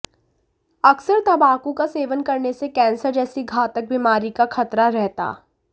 अकसर तंबाकू का सेवन करने से कैंसर जैसी घातक बीमारी का खतरा रहता